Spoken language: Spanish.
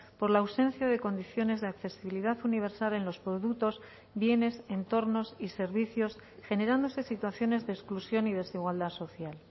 por la ausencia de condiciones de accesibilidad universal en los productos bienes entornos y servicios generándose situaciones de exclusión y desigualdad social